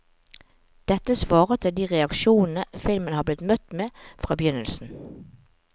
Dette svarer til de reaksjonene filmen har blitt møtt med fra begynnelsen.